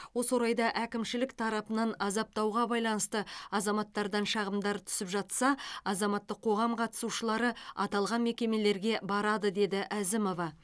осы орайда әкімшілік тарапынан азаптауға байланысты азаматтардан шағымдар түсіп жатса азаматтық қоғам қатысушылары аталған мекемелерге барады деді әзімова